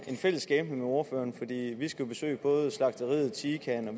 en fælles skæbne med ordføreren fordi vi skulle besøge både slagteriet tican og